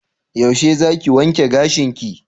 Yaushe zaki wanke gashinki?